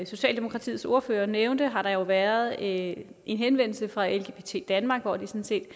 socialdemokratiets ordfører nævnte har der jo været en en henvendelse fra lgbt danmark hvor de